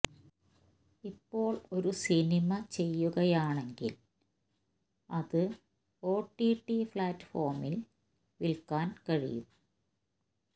ഇപ്പോൾ ഒരു സിനിമ ചെയ്യുകയാണെകിൽ അത് ഒടിടി പ്ലാറ്റ്ഫോമിൽ വിൽക്കാൻ കഴിയും